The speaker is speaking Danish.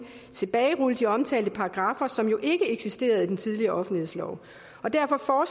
tilbagerulle de omtalte paragraffer som jo ikke eksisterede i den tidligere offentlighedslov og derfor